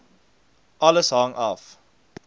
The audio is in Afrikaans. alles hang af